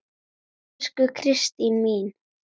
Elsku Kristín mín.